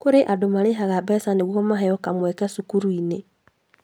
Kũri andũ marĩhaga mbeca nĩguo maheo kamweke cukuru -inĩ